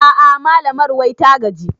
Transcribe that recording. A'a malamar wai ta gaji